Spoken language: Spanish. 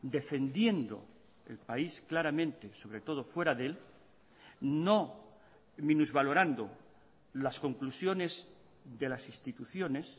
defendiendo el país claramente sobre todo fuera de él no minusvalorando las conclusiones de las instituciones